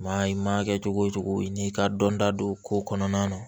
Maa i ma kɛ cogo cogo i n'i ka dɔnta don ko kɔnɔna na